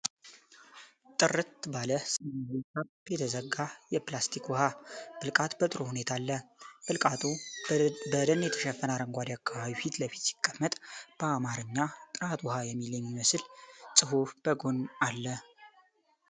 ጥርት ባለ ሰማያዊ ካፕ የተዘጋ የፕላስቲክ ውሃ ብልቃጥ በጥሩ ሁኔታ አለ። ብልቃጡ በደን የተሸፈነ አረንጓዴ አካባቢ ፊት ለፊት ሲቀመጥ፣ በአማርኛ "ጥራት ውሃ" የሚል የሚመስል ጽሑፍ በጎን አሉ።